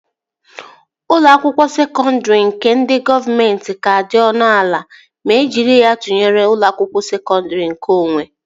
Ụlọ akwụkwọ sekọndri ndị gọọmenti ka dị ọnụ ala ma e jiri ya tụnyere ụlọ akwụkwọ sekọndri nkeonwe